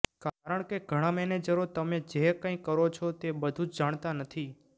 કારણ કે ઘણા મેનેજરો તમે જે કંઈ કરો છો તે બધું જ જાણતા નથી